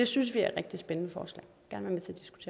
synes det er rigtig spændende